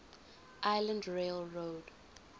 island rail road